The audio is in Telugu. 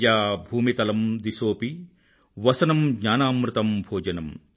శయ్యా భూమితలం దిశోపి వసనం జ్ఞానామృతం భోజనం